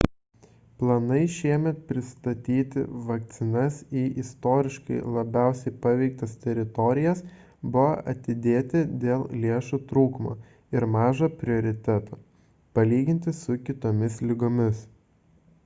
planai šiemet pristatyti vakcinas į istoriškai labiausiai paveiktas teritorijas buvo atidėti dėl lėšų trūkumo ir mažo prioriteto palyginti su kitomis ligomis